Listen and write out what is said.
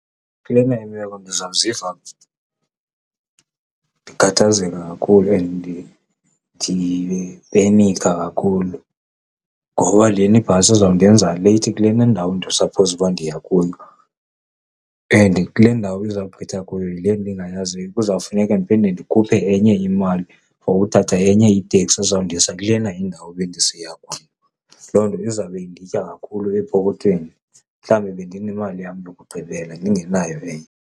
Kulena imeko ndizawuziva ndikhathazeka kakhulu and ndipenikha kakhulu ngoba lena ibhasi ezawundenza late kule ndawo ndisaphowuza uba ndiya kuyo and kule ndawo izawugqitha kuyo yile ndingayaziyo. Kuzawufuneka ndiphinde ndikhuphe enye imali for uthatha enye iteksi ezawundisa kulena indawo bendisiya kuyo. Loo nto izawube inditya kakhulu epokothweni, mhlawumbi bendinemali yam yokugqibela ndingenayo enye.